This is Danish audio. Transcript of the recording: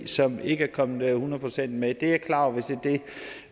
som ikke er kommet hundrede procent med det er jeg klar over hvis det